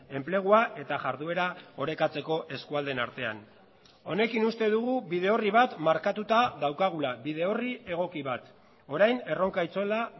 enplegua eta jarduera orekatzeko eskualdeen artean honekin uste dugu bide horri bat markatuta daukagula bide horri egoki bat orain erronka itzela